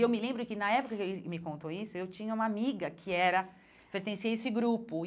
E eu me lembro que, na época que ele me contou isso, eu tinha uma amiga que era, pertencia a esse grupo.